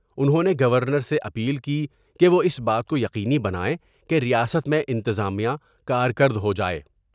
انہوں نے گورنر سے اپیل کی کہ وہ اس بات کو یقینی بنائیں کہ ریاست میں انتظامیہ کارکر دہو جاۓ ۔